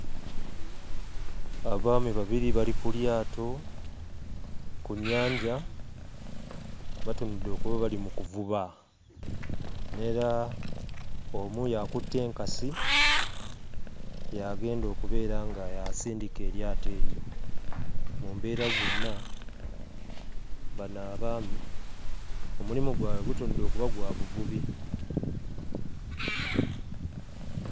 Abaami babiri bali ku lyato ku nnyanja batunudde okuba bali mu kuvuba n'era omu y'akutte enkasi y'agenda okubeera nga y'asindika eryato eryo. Mu mbeera zonna bano abaami omulimu gwabwe gutunudde okuba gwa buvubi.